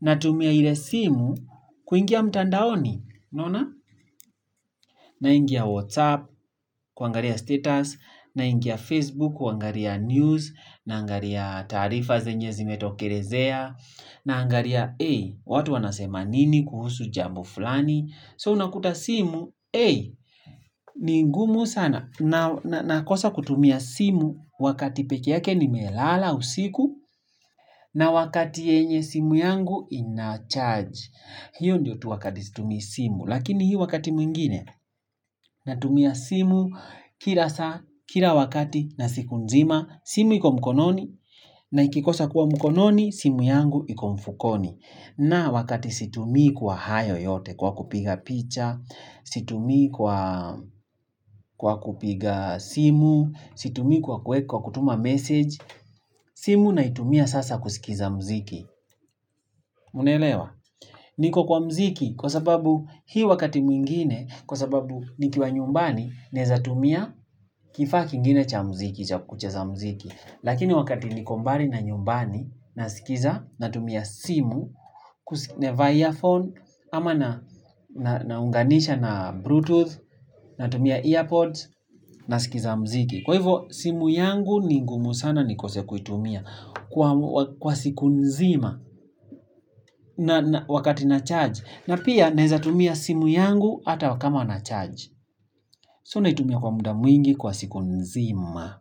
na tumia ile simu kuingia mtandaoni unaona. Na ingia whatsapp kwangalia status, na ingia facebook kwangalia news, na angalia tarifa zenye zimetokelezea na angalia hey watu wanasema nini kuhusu jambo fulani so unakuta simu hey ni ngumu sana na nakosa kutumia simu wakati pekee yake nimelala usiku na wakati yenye simu yangu inacharge. Hiyo ndiyo tu wakati situmii simu lakini hii wakati mwingine natumia simu kila saa Kila wakati na siku nzima simu iko mkononi na ikikosa kuwa mkononi simu yangu iko mfukoni. Na wakati situmi kwa hayo yote kwa kupiga picha, situmii kwa Kwa kupiga simu, situmii kwa kutuma message, simu naitumia sasa kusikiza muziki. Mnelewa, niko kwa mziki kwa sababu hii wakati mwingine, kwa sababu nikiwa nyumbani neza tumia kifaa kingine cha mziki, cha kucheza muziki. Lakini wakati niko mbali na nyumbani, nasikiza, natumia simu, na vaa earphone ama naunganisha na bluetooth, natumia earpods nasikiza mziki. Kwa hivo, simu yangu ni ngumu sana ni kose kuitumia kwa siku nzima wakati na charge. Na pia, naeza tumia simu yangu ata kama na charge. So naitumia kwa muda mwingi kwa siku nzima.